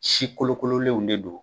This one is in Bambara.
Si kolokololenw de don